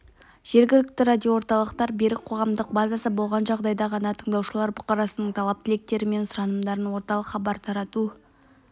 жергілікті радиоорталықтар берік қоғамдық базасы болған жағдайда ғана тыңдаушылар бұқарасының талап-тілектері мен сұранымдарын орталық хабар тарату